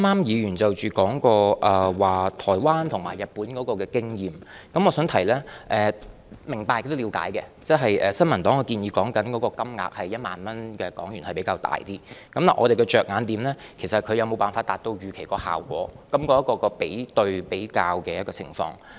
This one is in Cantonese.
議員剛才提到台灣和日本的經驗，我想指出，我是明白和了解的，新民黨建議的1萬港元消費券金額是比較大，但我們的着眼點是有關措施能否達到預期效果，是在於比較下的情況。